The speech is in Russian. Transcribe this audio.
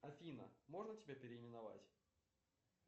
афина можно тебя переименовать